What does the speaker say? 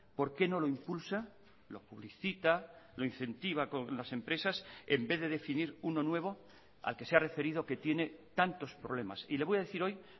por qué no lo impulsa lo publicita lo incentiva con las empresas en vez de definir uno nuevo al que se ha referido que tiene tantos problemas y le voy a decir hoy